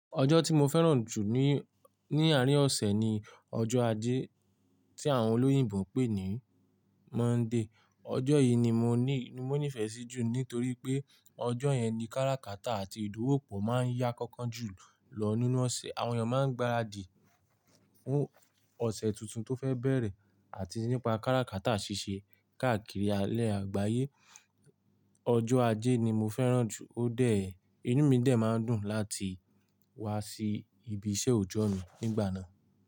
Ọjọ́ tí mo fẹ́ràn jù ní, ní àárín ọ̀sẹ̀ ni ọjọ́ Ajé tí àwọn olóyìnbo ń pè ní Monday. Ọjọ́ yì ni mo ní, mo nífẹ̀ sí jù nítorí pé ọjọ́ yẹn ni káràkátà àti ìdúwópo máa ń yá kánkán jù lọ nínú ọ̀sẹ̀. Àwọn èyàn máa ń gbaradì fún ọ̀sẹ̀ tuntun tó fẹ́ bẹ̀rẹ̀ àti nípa káràkátà ṣíṣe káàkiri alẹ́ àgbáyé. Ọjọ́ Ajé ni mo fẹ́ràn jù, ó dẹ̀, inú mi dẹ̀ máa ń dùn láti wá sí ibi iṣẹ́ òjọ́ mi nígbà náà.